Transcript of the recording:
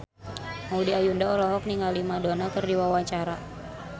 Maudy Ayunda olohok ningali Madonna keur diwawancara